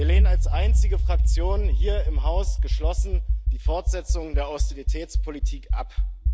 Wir lehnen als einzige Fraktion hier im Haus geschlossen die Fortsetzung der Austeritätspolitik ab.